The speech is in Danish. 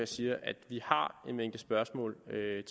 siger at vi har en mængde spørgsmål